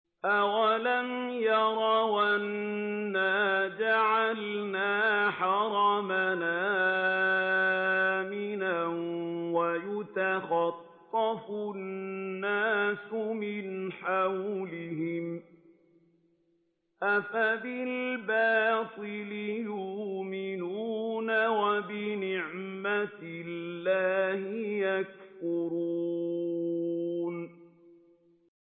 أَوَلَمْ يَرَوْا أَنَّا جَعَلْنَا حَرَمًا آمِنًا وَيُتَخَطَّفُ النَّاسُ مِنْ حَوْلِهِمْ ۚ أَفَبِالْبَاطِلِ يُؤْمِنُونَ وَبِنِعْمَةِ اللَّهِ يَكْفُرُونَ